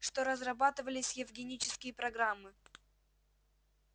что разрабатывались евгенические программы